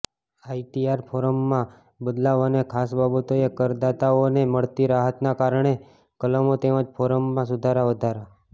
ITR ફોર્મમાં બદલાવ અને ખાસ બાબતોએ કરદાતાઓને મળતી રાહતના કારણે કલમો તેમજ ફોર્મમાં સુધારા વધારા